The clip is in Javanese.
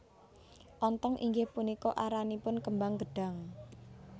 Ontong inggih punika aranipun kembang gedhang